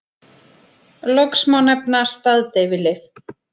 Loks má nefna staðdeyfilyf.